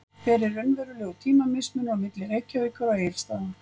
Hver er raunverulegur tímamismunur á milli Reykjavíkur og Egilsstaða?